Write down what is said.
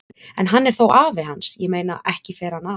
En hann er þó afi hans, ég meina, ekki fer hann að.